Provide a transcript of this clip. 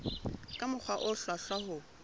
ka mokgwa o hlwahlwa ho